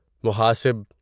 محاسب